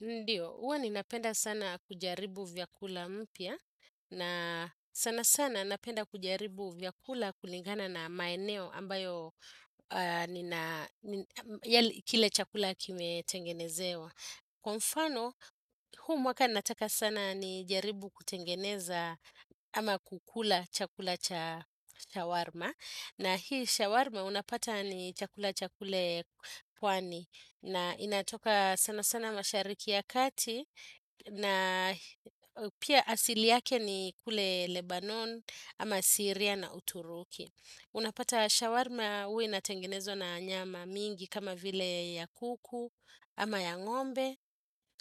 Ndiyo, huwa ninapenda sana kujaribu vyakula mpya na sana sana napenda kujaribu vyakula kulingana na maeneo ambayo kile chakula kimetengenezewa. Kwa mfano huu mwaka nataka sana ni jaribu kutengeneza ama kukula chakula cha shawarma na hii shawarma unapata ni chakula cha kule pwani na inatoka sana sana mashariki ya kati na pia asili yake ni kule Lebanon ama Syria na Uturuki. Unapata shawarma huwa inatengenezwa na nyama mingi kama vile ya kuku ama ya ngombe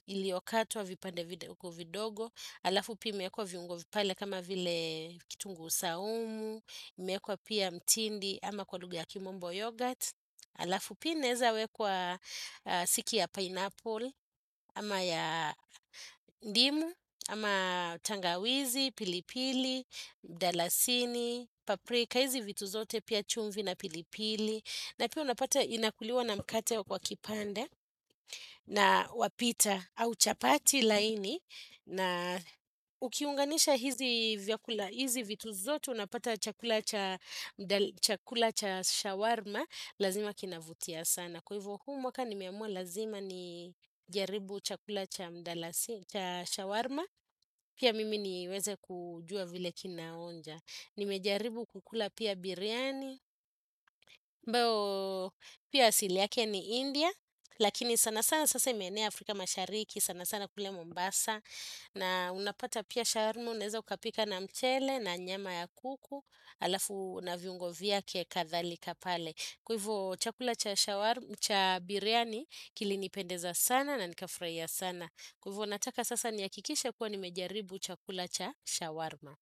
iliyokatwa vipande vidogo vodogo halafu pia imeekwa viungo pale kama vile kitunguu saumu imeekwa pia mtindi ama kwa lugha ya kimombo yoghurt halafu pia ineza wekwa siki ya pineapple ama ya ndimu, ama tangawizi, pilipili, mdalasini, paprika hizi vitu zote pia chumvi na pilipili na pia unapata inakuliwa na mkate wa kipande na wapita au chapati laini na ukiunganisha hizi vyakula hizi vitu zote Unapata chakula cha shawarma Lazima kinavutia sana Kwa hivo huu mwaka nimeamua lazima ni jaribu chakula cha mdalasini cha shawarma Pia mimi niweze kujua vile kina onja Nimejaribu kukula pia biryani ambayo pia asili yake ni India Lakini sana sana sasa imeenea Afrika mashariki sana sana kule Mombasa na unapata pia shawarma Unaeza ukapika na mchele na nyama ya kuku halafu na viungo vyake kadhalika pale Kwa hivyo chakula cha shawarma cha biryani kilinipendeza sana na nikafurahia sana. Kwa hivyo nataka sasa nihakikishe kuwa nimejaribu chakula cha shawarma.